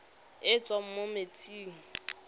e e tswang mo metsing